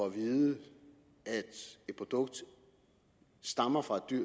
at vide at et produkt stammer fra et dyr